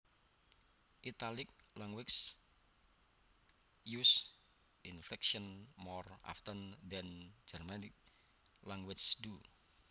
Italic languages use inflection more often than Germanic languages do